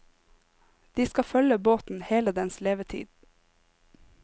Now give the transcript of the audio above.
De skal følge båten hele dens levetid.